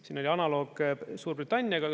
Siin oli analoog Suurbritanniaga.